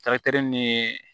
ni